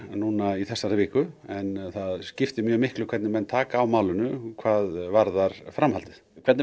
í þessari viku en það skiptir miklu hvernig menn taka á málinu hvað varðar framhaldið hvernig